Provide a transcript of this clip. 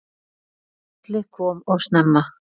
Kallið kom of snemma.